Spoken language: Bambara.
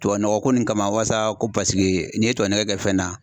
Tubabunɔgɔ ko nin kama wasa ko paseke n'i ye tubabunɔgɔ kɛ fɛn na